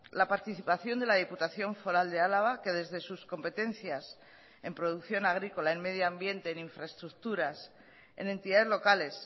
la participación de la diputación foral de álava que desde sus competencias en producción agrícola en medio ambiente en infraestructuras en entidades locales